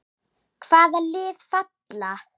Hvaða lið falla?